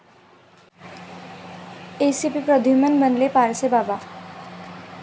ACP Pradyumna बनलेत पारसीबाबा!